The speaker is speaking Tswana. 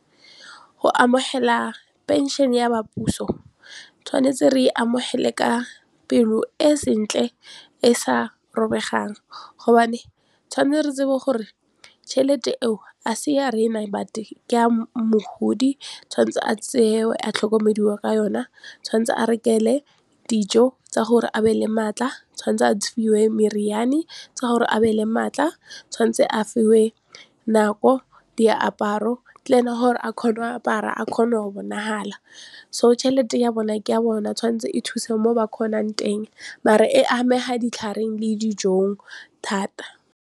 Go amogela pension ya ba puso tshwanetse re e amogele ka pelo e sentle e sa robegang gobane tshwanetse re tsebe gore tšhelete eo a se ya rena but ke ya mogodi tshwanetse a tseye a tlhokomediwe ka yona tshwanetse a rekele dijo tsa gore a be le maatla tshwanetse a fiwe meriane tsa gore a be le maatla tshwanetse a fiwe nako, diaparo gore a kgone go apara a kgone go bonagala so tšhelete ya bona ke ya bona tshwanetse e thuse mo ba kgonang teng mare e amega ditlhareng le dijong thata.